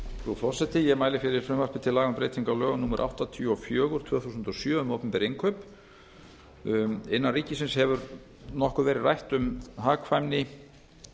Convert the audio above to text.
frú forseti ég mæli fyrir frumvarpi til laga um breytingu á lögum númer áttatíu og fjögur tvö þúsund og sjö um opinber innkaup innan ríkisins hefur nokkuð verið rætt um hagkvæmni